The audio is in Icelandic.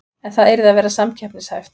En það yrði að vera samkeppnishæft